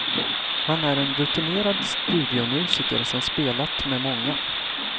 Han är en rutinerad studiomusiker som spelat med många.